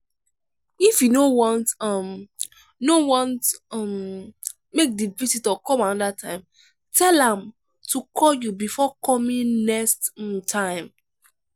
if you no want um no want um make di visitor come another time tell am to call you before coming next um time